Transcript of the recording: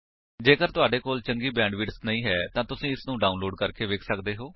ਜੇਕਰ ਤੁਹਾਡੇ ਕੋਲ ਚੰਗੀ ਬੈਂਡਵਿਡਥ ਨਹੀਂ ਹੈ ਤਾਂ ਤੁਸੀ ਇਸਨੂੰ ਡਾਉਨਲੋਡ ਕਰਕੇ ਵੇਖ ਸੱਕਦੇ ਹੋ